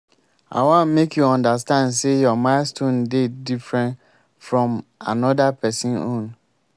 i wan make you understand sey your milestone dey different fromm anoda pesin own.